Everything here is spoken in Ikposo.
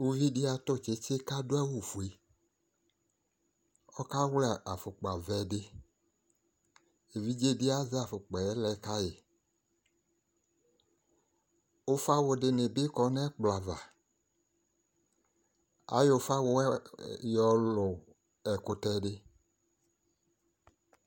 Uvi de ato tsetse ko ado awufue, ɔka wlɛ afokpavɛ de Evidze de azɛ afokpa yɛ lɛ kaiUfawu de ne be kɔ no ɛkplɔ avaAyɔ ufawu ɛɛ, yɔ lu ɛkutɛ de